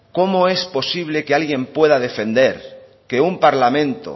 cómo es posible que alguien pueda defender que un parlamento